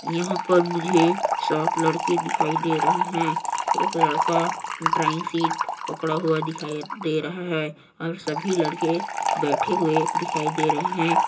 यहाँ पर मुझे सात लड़के दिखाई दे रहे हैं एक लड़का ड्रॉइंग शीट पकड़ा हुआ दिखाई दे रहा हैं और सभी लड़के बैठे हुए दिखाई दे रहे है।